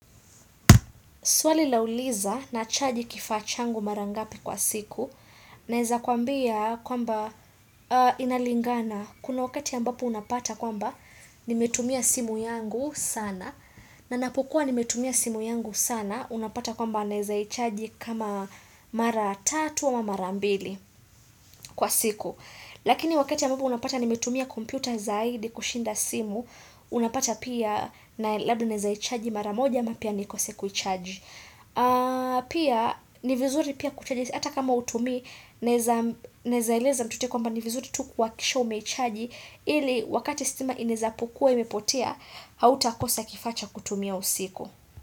Swali lauliza nachaji kifachangu mara ngapi kwa siku? Naeza kuambia kwamba inalingana. Kuna wakati ambapo unapata kwamba nimetumia simu yangu sana. Ninapokua nimetumia simu yangu sana. Unapata kwamba naezaichaji kama mara tatu ama mara mbili kwa siku. Lakini wakati ambapo unapata nimetumia kompyuta zaidi kushinda simu. Unapata pia na, labda naezaichaji mara moja ama pia nikose kuichaji. Pia hata kama hutumii naeza eleza kuwa ni vizuri kuhakikisha umeichaji ili wakati stima itakua imepotea hautakosa kifaa cha kutumia usiku.